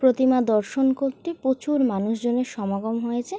প্রতিমা দর্শন করতে প্রচুর মানুষজনের সমাগম হয়েছে।